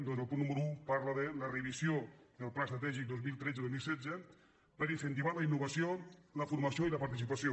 doncs el punt nú·mero un parla de la revisió del pla estratègic dos mil tretze·dos mil setze per incentivar la innovació la formació i la participa·ció